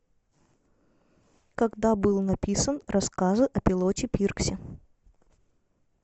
когда был написан рассказы о пилоте пирксе